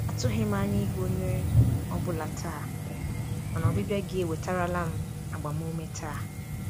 Atụghị m anya ịhụ onye ọ bụla taa, mana ọbịbịa gị ewetarala m agbamume taa.